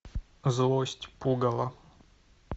злость пугало